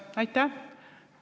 Aitäh!